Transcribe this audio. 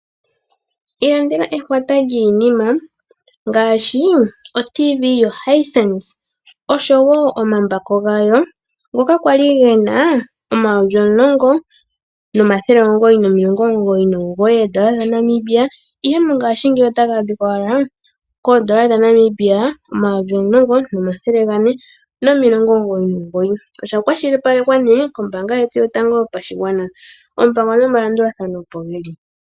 Ilandela ehwata lyiinima ngaashi: otv yo Hayisenisi osho woo omambako gayo ngoka kwali gena omayovi omulongo, nomathele omugoyi, nomilongo omugoyi nomugoyi oondola dha Namibia. Ihe mongaashingeyi otagaadhikwa owala koondola dha Namibia omayovi omulongo, nomathele gane, nomilongo omugoyi nomugoyi oshakwashilipalekwa nee kombaanga yetu yotango yopashigwana oompango nomalandulathano opogeli.